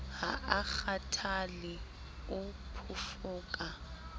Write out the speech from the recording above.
ha a kgathale o phofaka